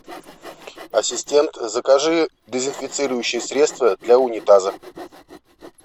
ассистент закажи дезинфицирующее средство для унитаза